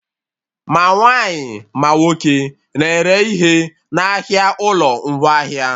Ma nwaanyị, ma nwoke na-ere ihe n'ahịa ụlọ ngwaahịa